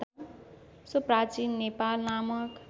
so प्राचीन नेपाल नामक